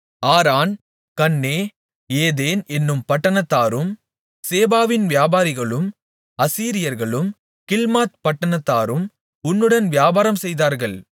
ஆரான் Canneh Eden என்னும் பட்டணத்தாரும் சேபாவின் வியாபாரிகளும் அசீரியர்களும் கில்மாத் பட்டணத்தாரும் உன்னுடன் வியாபாரம்செய்தார்கள்